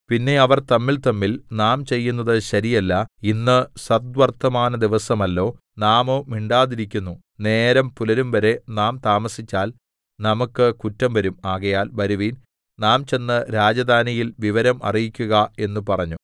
പിന്നെ അവർ തമ്മിൽതമ്മിൽ നാം ചെയ്യുന്നത് ശരിയല്ല ഇന്ന് സദ്വർത്തമാനദിവസമല്ലോ നാമോ മിണ്ടാതിരിക്കുന്നു നേരം പുലരുംവരെ നാം താമസിച്ചാൽ നമുക്ക് കുറ്റം വരും ആകയാൽ വരുവിൻ നാം ചെന്നു രാജധാനിയിൽ വിവരം അറിയിക്കുക എന്ന് പറഞ്ഞു